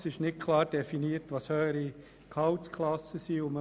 Es ist nicht klar definiert, was man unter höheren Gehaltsklassen versteht.